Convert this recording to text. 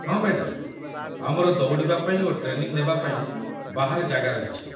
ହଁ ମ୍ୟାଡାମ୍, ଆମର ଦୌଡ଼ିବା ପାଇଁ ଓ ଟ୍ରେନିଂ ନେବା ପାଇଁ ବାହାରେ ଜାଗା ରହିଛି